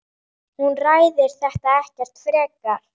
Hún ræðir þetta ekkert frekar.